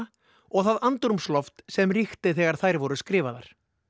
og það andrúmsloft sem ríkti þegar þær voru skrifaðar